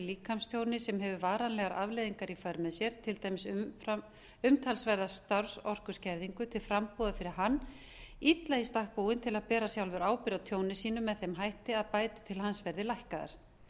líkamstjóni sem hefur varanlegar afleiðingar í för með sér til dæmis umtalsverða starfsorkuskerðingu til frambúðar fyrir hann illa í stakk búinn til að bera sjálfur ábyrgð á tjóni sínu með þeim hætti að bætur til hans verði lækkaðar